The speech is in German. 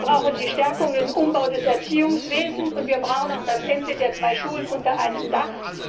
Wir brauchen die Verstärkung des Umbaus des Erziehungswesens und wir brauchen auch das Ende der zwei Schulen unter einem Dach.